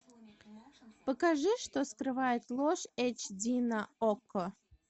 покажи что скрывает ложь эйч ди на окко